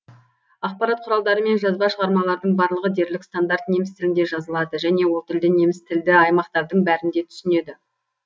ақпарат құралдары мен жазба шығармалардың барлығы дерлік стандарт неміс тілінде жазылады және ол тілді немістілді аймақтардың бәрінде түсінеді